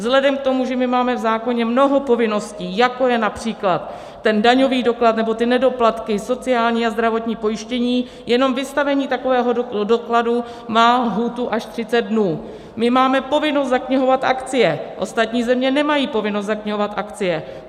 Vzhledem k tomu, že my máme v zákoně mnoho povinností, jako je například ten daňový doklad nebo ty nedoplatky, sociální a zdravotní pojištění, jenom vystavení takového dokladu má lhůtu až 30 dnů, my máme povinnost zaknihovat akcie, ostatní země nemají povinnost zaknihovat akcie.